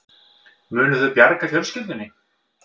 Munu þau bjarga fjölskyldunni